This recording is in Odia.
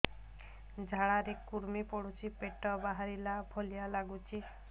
ଝାଡା ରେ କୁର୍ମି ପଡୁଛି ପେଟ ବାହାରିଲା ଭଳିଆ ଲାଗୁଚି